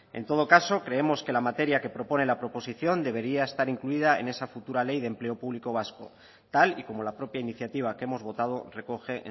en todo caso creemos que la materia que propone la proposición debería estar incluida en esa futura ley de empleo público vasco tal y como la propia iniciativa que hemos votado recoge